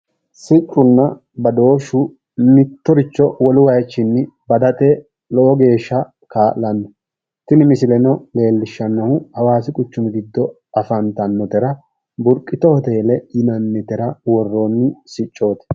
Siccunna badooshshu mittoricho wolu wayichinni badate lowo geeshsha kaa'lanno. Tini misileno leellishshannohu hawaasi quchumi giddo afantannotera burqitu hoteele yinannitera worroonni siccooti.